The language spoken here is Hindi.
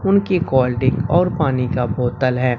कोल्ड ड्रिंक और पानी का बोतल है।